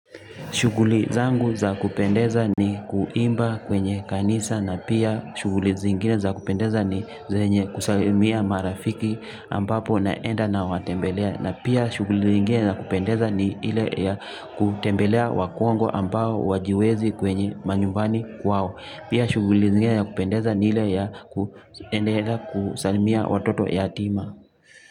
Shughuli zangu za kupendeza ni kuimba kwenye kanisa na pia shughuli zengine za kupendeza ni zenye kusalamia marafiki. Ambapo naenda nawatembelea na pia shughuli zingine za kupendeza ni ile ya kutembelea wakongwe ambao wajiwezi kwenye manyumbani kwao pia shughuli zingine ya kupendeza ni ile ya kuenda kusalimia watoto yatima.